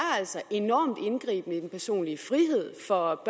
enormt indgribende i den personlige frihed for